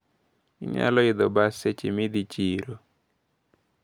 Inyalo idho bas seche midhi chiro.